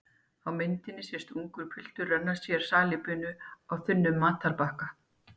Á myndinni sést ungur piltur renna sér salíbunu á þunnum matarbakka.